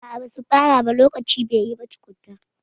A'a, ba su fara ba lokaci bai yi ba tukunna.